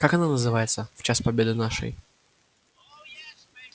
как она называется в час победы нашей